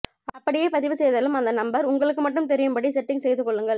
அப்படியே பதிவு செய்தாலும் அந்த நம்பர் உங்களுக்கு மட்டும் தெரியும்படி செட்டிங்ஸ் செய்து கொள்ளுங்கள்